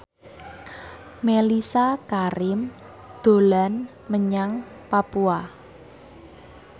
Mellisa Karim dolan menyang Papua